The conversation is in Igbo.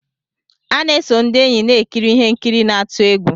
A na-eso ndị enyi na-ekiri ihe nkiri n'atu egwu.